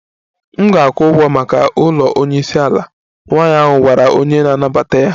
M ga-akwụ ụgwọ maka ụlọ onye isi ala, nwanyị ahụ gwara onye na-anabata ya